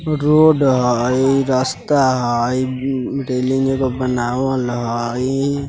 रोड हय रास्ता हय मम्म्म रैलिंगे एगो बनावल हय ।